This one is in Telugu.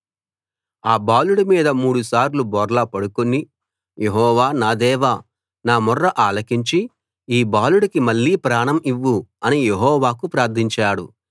ఆ బాలుడి మీద మూడుసార్లు బోర్లా పండుకుని యెహోవా నా దేవా నా మొర్ర ఆలకించి ఈ బాలుడికి మళ్ళీ ప్రాణం ఇవ్వు అని యెహోవాకు ప్రార్థించాడు